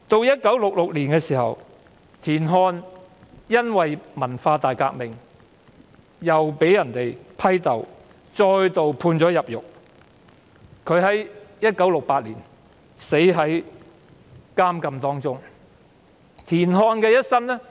1966年，田漢在文化大革命中被批鬥，並再度被判入獄 ，1968 年在囚禁期間逝世。